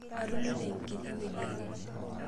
atunuta enkiti wueeji ake